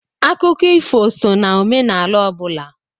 Akụkọ ifo sọ na omenala ọ bụla.